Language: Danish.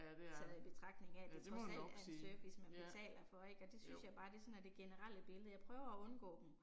Taget i betragtning af det trods alt er en service man betaler for ik og det synes jeg bare det sådan er det generelle billede, jeg prøver at undgå dem